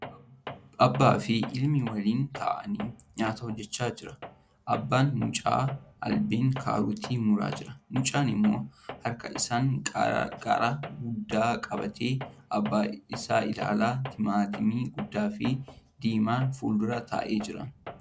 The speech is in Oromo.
Abbaa fi ilmi waliin ta'anii nyaata hojjachaa jira . Abbaan mucaa albeen kaarootii muraa jira . Mucaan immoo harka isaan qaaraa guddaa qabatee abbaa isaa ilaala. Timaatimii guddaa fi diimaan fuuldura taa'ee jira.